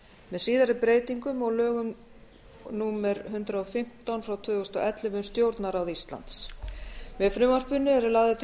með síðari breytingum og lögum númer hundrað og fimmtán tvö þúsund og ellefu um stjórnarráð íslands með frumvarpinu eru lagðar til